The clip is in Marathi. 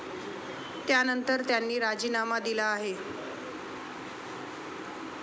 त्यानंतर, त्यांनी राजीनामा दिला आहे.